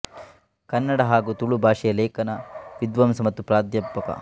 ಕನ್ನಡ ಹಾಗೂ ತುಳು ಭಾಷೆಯ ಲೇಖಕ ವಿದ್ವಾಂಸ ಮತ್ತು ಪ್ರಾಧ್ಯಾಪಕ